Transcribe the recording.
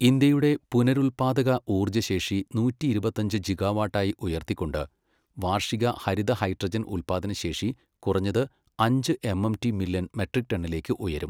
ഇന്ത്യയുടെ പുനരുൽപ്പാദക ഊർജ്ജശേഷി നൂറ്റിയിരുപത്തഞ്ച് ജിഗാവാട്ട് ആയി ഉയർത്തിക്കൊണ്ട്, വാർഷിക ഹരിത ഹൈഡ്രജൻ ഉൽപ്പാദനശേഷി കുറഞ്ഞത് അഞ്ച് എംഎംടി മില്യൺ മെട്രിക് ടണ്ണിലേക്ക് ഉയരും.